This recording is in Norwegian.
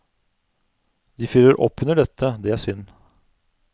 De fyrer opp under dette, det er synd.